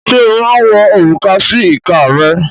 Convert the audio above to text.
Ṣé ó máa ń wọ òrùka sí ìka rẹ̀?